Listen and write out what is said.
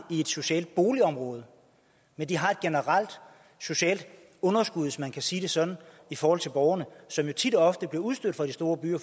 i et socialt boligområde men de har et generelt socialt underskud hvis man kan sige det sådan i forhold til borgerne som jo tit og ofte bliver udstødt fra de store byer